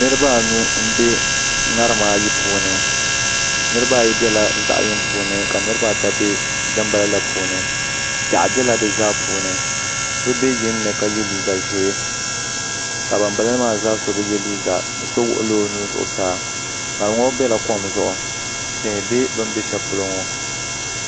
Niraba anu n bɛ ŋarima ayi puuni niraba biɛla zaɣ yini puuni ka niraba ayi bɛ dinbala la puuni piɛɣu biɛla di zaa puuni so bɛ yinni ka yɛ liiga ʒiɛ ka banbala maa zaa so bi yɛ liiga bi so wuhula o nuu zuɣusaa ŋarim ŋo biɛla kom zuɣu tihi bɛ bi ni bɛ shɛli polo ŋo